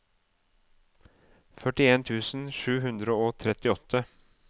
førtien tusen sju hundre og trettiåtte